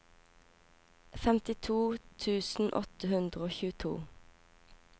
femtito tusen åtte hundre og tjueto